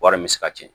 Wari bɛ se ka ci